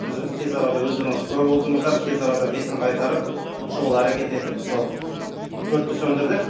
біз өзі тез арада өздеріңіз куә болдыңыздар тез арада бетін қайтарып шұғыл әрекет етіп өртті сөндірдік